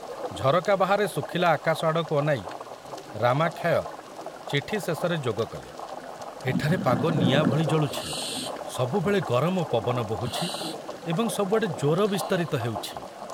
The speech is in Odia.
ଝରକା ବାହାରେ ଶୁଖିଲା ଆକାଶ ଆଡ଼କୁ ଅନାଇ ରାମାକ୍ଷୟ ଚିଠି ଶେଷରେ ଯୋଗ କଲେ, ଏଠାରେ ପାଗ ନିଆଁ ଭଳି ଜଳୁଛି, ସବୁବେଳେ ଗରମ ପବନ ବୋହୁଛି ଏବଂ ସବୁଆଡ଼େ ଜ୍ୱର ବିସ୍ତାରିତ ହେଉଛି।